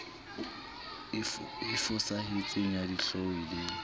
e fosahetseng ya dihlooho le